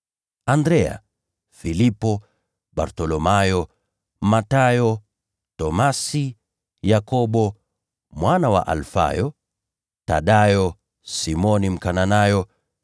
Andrea, Filipo, Bartholomayo, Mathayo, Tomaso, Yakobo mwana wa Alfayo, Thadayo, Simoni Mkananayo,